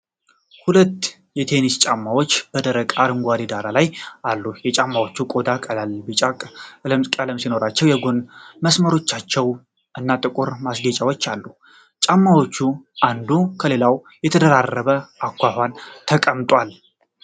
ሁለት የቴኒስ ጫማዎችን በደማቅ አረንጓዴ ዳራ ላይ አሉ። የጫማዎቹ ቆዳ ቀላል ቢጫ ቀለም ሲኖረው፣ የጎን መስመሮቻቸው እና ጥቁር ማስጌጫዎች አሉት። ጫማዎቹ አንዱ ከሌላው በተደራረበ አኳኋን ተቀምጠዋል።